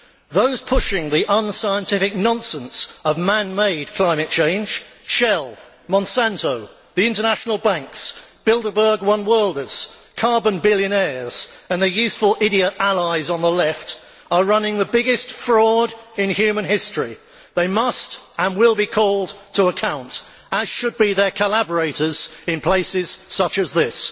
Those pushing the unscientific nonsense of man made climate change Shell, Monsanto, the international banks, Bilderberg one worlders, carbon billionaires and their useful idiot allies on the left are running the biggest fraud in human history. They must and will be called to account, as should their collaborators in places such as this.